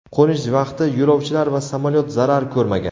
Qo‘nish vaqti yo‘lovchilar va samolyot zarar ko‘rmagan.